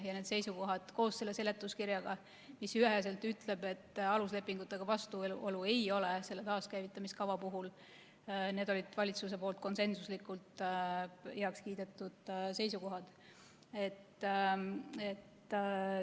Ja need seisukohad koos seletuskirjaga, mis üheselt ütleb, et aluslepingutega vastuolu ei ole selle taaskäivitamiskava puhul – need olid valitsuse konsensuslikult heaks kiidetud seisukohad.